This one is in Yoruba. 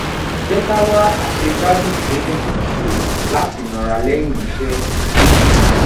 jẹ ka wa aṣegbadun to dun kan ṣe lati nara lẹyin iṣẹ